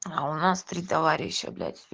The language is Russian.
а у нас три товарища блядь